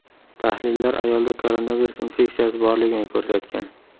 Tahlillar ayolda koronavirus infeksiyasi borligini ko‘rsatgan.